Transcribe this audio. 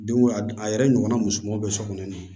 Denko a yɛrɛ ɲɔgɔnna musomanw bɛ so kɔnɔ